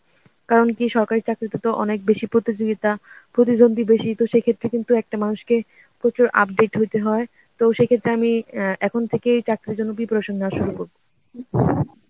কারণ কী সরকারী চাকরি তে তো অনেক বেশি প্রতিযোগিতা, প্রতিদন্ধি বেশি, তো সেক্ষেত্রে কিন্তু একটা মানুষকে প্রচুর update হইতে হয়, তো সেক্ষেত্রে আমি আহ এখন থেকেই চাকরির জন্য preparation নেওয়া শুরু করব.